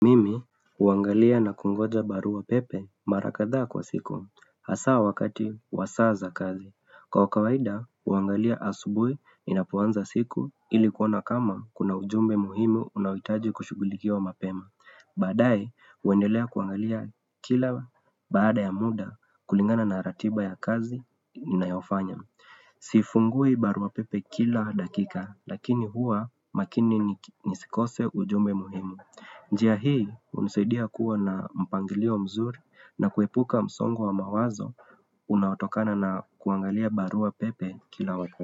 Kuangalia na kungoja barua pepe mara kadhaa kwa siku, hasa wakati wa saa za kazi. Kwa kawaida, huangalia asubuhi ninapoanza siku ili kuona kama kuna ujumbe muhimu unaohitaji kushughulikiwa mapema. Baadae, huendelea kuangalia kila baada ya muda kulingana na ratiba ya kazi ninayofanya. Sifungui barua pepe kila dakika, lakini hua makini nisikose ujumbe muhimu. Njia hii, hunisaidia kuwa na mpangilio mzuri na kuepuka msongo wa mawazo, unaotokana na kuangalia barua pepe kila wa.